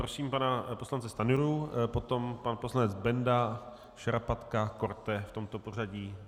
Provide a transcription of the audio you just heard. Prosím pana poslance Stanjuru, potom pan poslanec Benda, Šarapatka, Korte, v tomto pořadí.